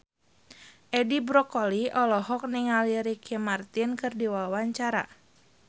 Edi Brokoli olohok ningali Ricky Martin keur diwawancara